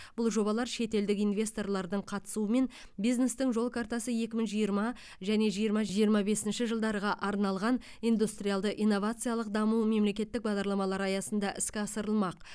бұл жобалар шетелдік инвесторлардың қатысуымен бизнестің жол картасы екі мың жиырма және жиырма жиырма бесінші жылдарға арналған индустриалды инновациялық даму мемлекеттік бағдарламалары аясында іске асырылмақ